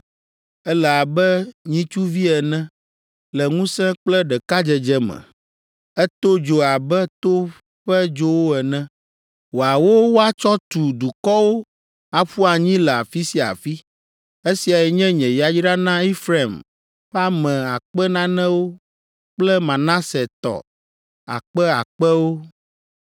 Ele abe nyitsuvi ene Le ŋusẽ kple ɖekadzedze me. Eto dzo abe to ƒe dzowo ene; Wòawo wòatsɔ tu dukɔwo aƒu anyi le afi sia afi. Esiae nye nye yayra na Efraim ƒe ame akpe nanewo kple Manase tɔ akpe akpewo.”